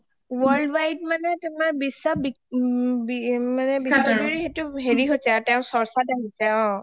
এনে worldwide মানে তোমাৰ বিশ্ব বিখ্যা বিশ্ব জুৰি সেইটো হেৰি হৈছে আৰু চৰ্চাত আৰু অ